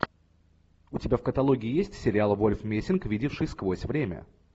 у тебя в каталоге есть сериал вольф мессинг видевший сквозь время